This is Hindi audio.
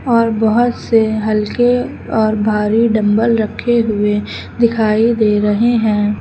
और बहुत से हल्के और भारी डंबल रखे हुए दिखाई दे रहे हैं।